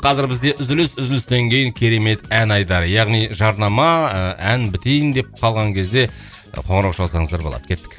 қазір бізде үзіліс үзілістен кейін керемет ән айдары яғни жарнама ы ән бітейін деп қалған кезде қоңырау шалсаңыздар болады кеттік